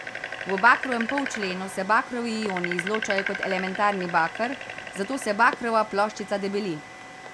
V bakrovem polčlenu se bakrovi ioni izločajo kot elementarni baker, zato se bakrova ploščica debeli.